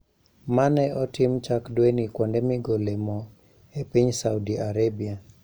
Ma ne otim chak dweni kuonde migole mo e piny Saudi Arabia